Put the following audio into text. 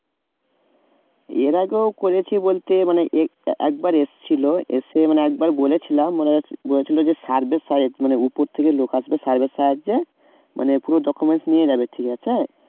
এর আগেও করেছি বলতে মানে এর একবার এসেছিল এসে মানে একবার বলেছিলাম মানে বলেছিল যে survey মানে উপর থেকে লোক আসবে survey এর সাহায্যে মানে documents নিয়ে যাবে ঠিক আছে?